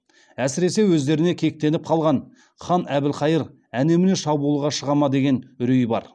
әсіресе өздеріне кектеніп қалған хан әбілхайыр әне міне шабуылға шыға ма деген үрей бар